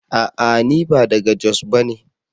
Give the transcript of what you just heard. A'a! ni ba daga jos bane.